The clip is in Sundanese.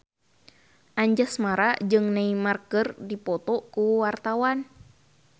Anjasmara jeung Neymar keur dipoto ku wartawan